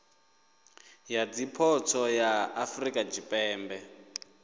ya zwipotso ya afurika tshipembe